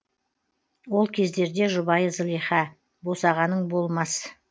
ол кездерде жұбайы зылиха босағаның болмас